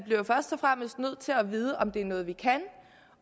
først og fremmest bliver nødt til at vide om det er noget vi kan